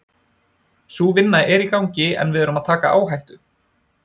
Sú vinna er í gangi en við erum að taka áhættu.